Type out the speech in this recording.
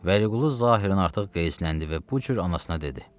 Vəliqulu zahirən artıq qəzbləndi və bu cür anasına dedi.